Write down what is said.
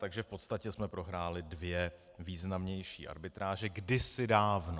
Takže v podstatě jsme prohráli dvě významnější arbitráže, kdysi dávno.